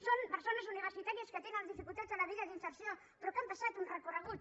són persones universitàries que tenen les dificultats a la vida d’inserció però que han passat un recorregut